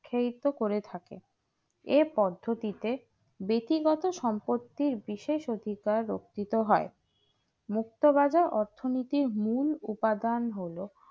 উৎসাহিত করে থাকে এই পদ্ধতিতে বেশি গত সম্পত্তি বিশেষ অধিকার রক্ষিত হয় মুক্তবাজার অর্থনৈতিক মূল উপাদান হলো